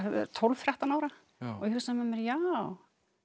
tólf til þrettán ára og ég hugsa með mér já